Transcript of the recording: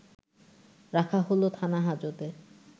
রাখা হলো থানা-হাজতে